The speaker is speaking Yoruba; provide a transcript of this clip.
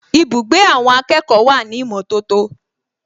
Ibùgbé àwọn akẹ́kọ̀ọ́ wà ní ìmọ̀tótó